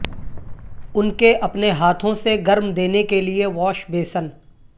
ان کے اپنے ہاتھوں سے گرم دینے کے لئے واش بیسن